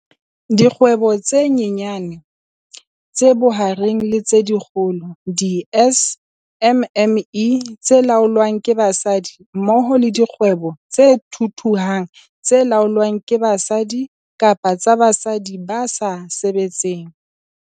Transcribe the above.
Dikgwebo tse Nyanyane, tse Bohareng le tse Kgolo, di-SMME, tse laolwang ke basadi mmoho le dikgwebo tse thuthuhang tse laolwang ke basadi kapa tsa basadi ba sa sebetseng.